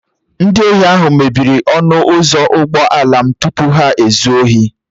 Ndị ohi ahụ mebiri ọnụ ụzọ ụgbọala m tupu ha ezuo ohi